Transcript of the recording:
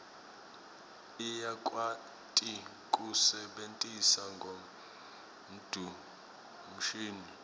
uyakwati kuse bentisa ngonduo mshini